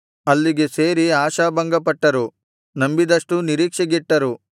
ಅಲ್ಲಿಗೆ ಸೇರಿ ಆಶಾಭಂಗಪಟ್ಟರು ನಂಬಿದಷ್ಟೂ ನಿರೀಕ್ಷೆಗೆಟ್ಟರು